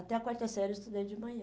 Até a quarta série eu estudei de manhã.